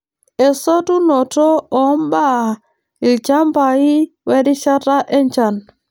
Esotunoto oo mbaa ilchamba we rishata enchan.